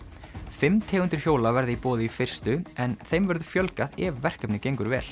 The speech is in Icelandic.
fimm tegundir hjóla verða í boði í fyrstu en þeim verður fjölgað ef verkefnið gengur vel